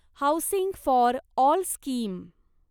housing for all scheme